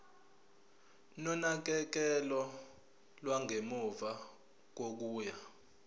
nonakekelo lwangemuva kokuya